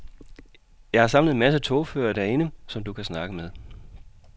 Jeg har samlet en masse togførere derinde, som du kan snakke med.